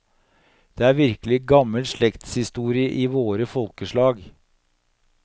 Det er virkelig gammel slektshistorie til våre folkeslag!